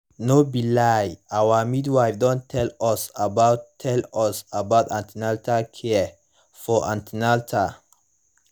no be lie our midwife don tell us about tell us about an ten atal care for an ten atal